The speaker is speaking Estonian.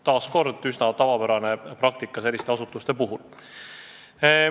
Taas kord üsna tavapärane praktika selliste asutuste puhul.